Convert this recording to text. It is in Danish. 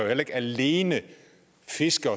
alene fiske